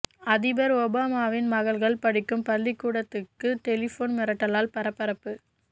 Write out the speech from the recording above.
அதிபர் ஒபாமாவின் மகள்கள் படிக்கும் பள்ளிக் கூடத்துக்கு டெலிபோன் மிரட்டலால் பரபரப்பு